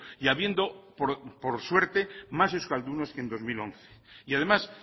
y habiendo por suerte más euskaldunes que en dos mil once y además